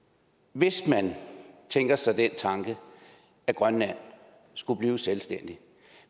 hvis man tænker sig at grønland skulle blive selvstændig